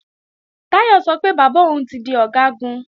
Táyọ̀ sọ pé bàbá òun ti di Ọ̀gágun